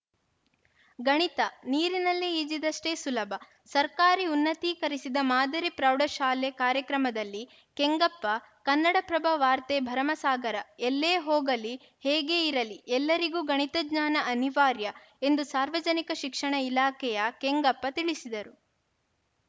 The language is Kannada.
ಗಣಿತ ನೀರಿನಲ್ಲಿ ಈಜಿದಷ್ಟೇ ಸುಲಭ ಸರ್ಕಾರಿ ಉನ್ನತೀಕರಿಸಿದ ಮಾದರಿ ಪ್ರೌಢಶಾಲೆ ಕಾರ್ಯಕ್ರಮದಲ್ಲಿ ಕೆಂಗಪ್ಪ ಕನ್ನಡಪ್ರಭ ವಾರ್ತೆ ಭರಮಸಾಗರ ಎಲ್ಲೇ ಹೋಗಲಿ ಹೇಗೇ ಇರಲಿ ಎಲ್ಲರಿಗೂ ಗಣಿತ ಜ್ಞಾನ ಅನಿವಾರ್ಯ ಎಂದು ಸಾರ್ವಜನಿಕ ಶಿಕ್ಷಣ ಇಲಾಖೆಯ ಕೆಂಗಪ್ಪ ತಿಳಿಸಿದರು